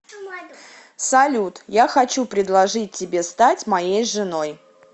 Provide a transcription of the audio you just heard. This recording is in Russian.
салют я хочу предложить тебе стать моей женой